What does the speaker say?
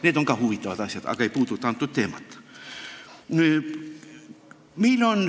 Need on ka huvitavad asjad, aga ei puuduta seda teemat.